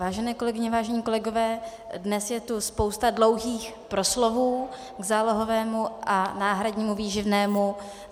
Vážené kolegyně, vážení kolegové, dnes je tu spousta dlouhých proslovů k zálohovému a náhradnímu výživnému.